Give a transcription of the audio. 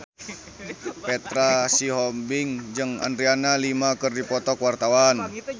Petra Sihombing jeung Adriana Lima keur dipoto ku wartawan